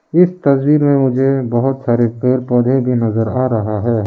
इस तस्वीर में मुझे बहुत सारे पेड़ पौधे भी नजर आ रहा है।